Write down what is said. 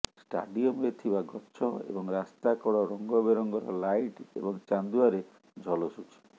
ଷ୍ଟାଡିୟମରେ ଥିବା ଗଛ ଏବଂ ରାସ୍ତା କଡ଼ ରଙ୍ଗବେରଙ୍ଗର ଲାଇଟ୍ ଏବଂ ଚାନ୍ଦୁଆରେ ଝଲସୁଛି